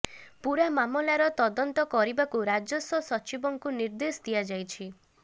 ପୂରା ମାମଲାର ତଦନ୍ତ କରିବାକୁ ରାଜସ୍ୱ ସଚିବଙ୍କୁ ନିର୍ଦ୍ଦେଶ ଦିଆଯାଇଛି